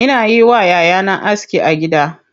Ina yi wa yayana aski a gida.